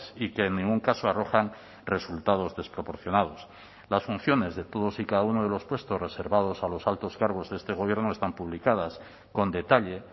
y que en ningún caso arrojan resultados desproporcionados las funciones de todos y cada uno de los puestos reservados a los altos cargos de este gobierno están publicadas con detalle